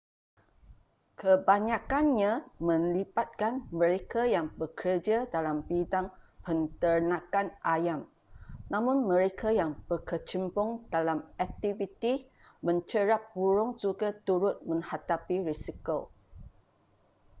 kebanyakannya melibatkan mereka yang bekerja dalam bidang penternakan ayam namun mereka yang berkecimpung dalam aktiviti mencerap burung juga turut menghadapi risiko